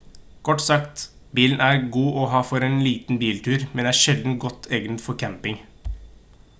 kort sagt bilen er god å ha for en biltur men er sjelden godt egnet for camping